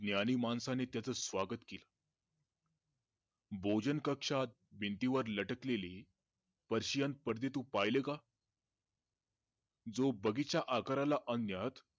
ज्ञानी माणसाने त्याचा स्वागत केल भोजन कक्षात भिंतीवर लाटकलेली परशियन परदे तू पाहिले का? जो बगीच्या आकाराला आणण्यात